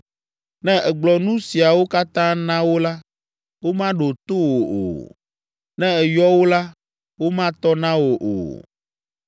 “Ne ègblɔ nu siawo katã na wo la, womaɖo to wò o. Ne èyɔ wo la, womatɔ na wò o.